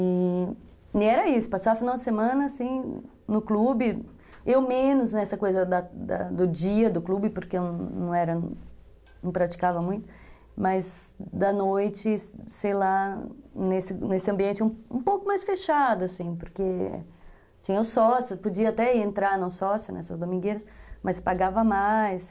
E era isso, passava o final de semana, assim, no clube, eu menos nessa coisa do dia do clube, porque eu não praticava muito, mas da noite, sei lá, nesse nesse ambiente um pouco mais fechado, porque tinha os sócios, podia até entrar no sócio nessas domingueiras, mas pagava mais.